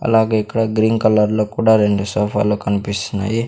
అలాగే ఇక్కడ green colour లో కూడా రెండు సోఫా లు కన్పిస్తున్నాయి.